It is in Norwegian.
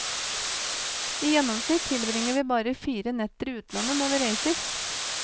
I gjennomsnitt tilbringer vi bare fire netter i utlandet når vi reiser.